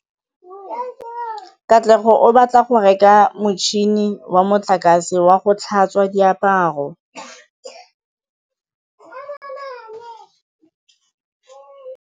Katlego o batla go reka motšhine wa motlakase wa go tlhatswa diaparo.